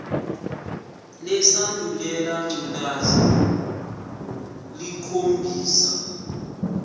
lesandulela ngculazi lukhombisa